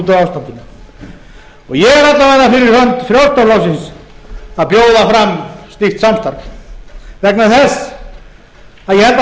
ástandinu ég er alla vega fyrir hönd frjálslynda flokksins að bjóða fram slíkt samstarf vegna þess að ég held að